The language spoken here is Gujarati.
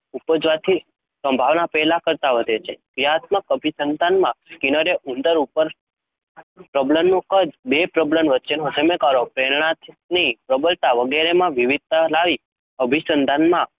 ઉપજવાની સંભાવના પહેલાં કરતાં વધે. ક્રિયાત્મક અભિસંધાનમાં સ્કિનરે ઉંદર ઉપર પ્રબલનનું કદ, બે પ્રબલન વચ્ચેનો સમયગાળો, પ્રેરણાની પ્રબળતા વગેરેમાં વિવિધતા લાવી અભિસંધાનમાં